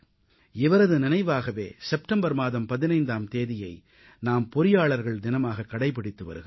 இவரது நினைவாகவே செப்டம்பர் மாதம் 15ஆம் தேதியை நாம் பொறியாளர்கள் தினமாகக் கடைபிடித்து வருகிறோம்